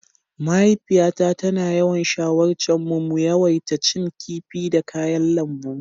Mahaifiyata tana yawan shawarce mu mu yawaita cin kifi da kayan lambu.